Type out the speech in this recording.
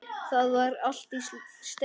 Það var allt í steik.